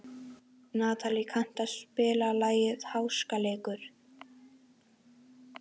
Natalí, kanntu að spila lagið „Háskaleikur“?